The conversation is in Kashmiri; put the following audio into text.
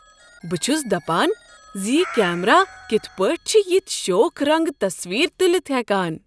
بہ چھس دپان ز یہ کیمرا کتھ پٲٹھۍ چھ یتھ شوخ رنٛگہٕ تصویٖر تٖلِتھ ہٮ۪کان۔!